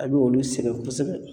A bɛ olu sɛgɛ kosɛbɛ.